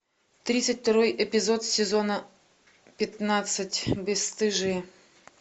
тридцать второй эпизод сезона пятнадцать бесстыжие